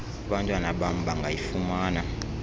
abantwana bam bangayifumana